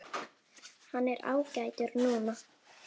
Hann er ágætur núna.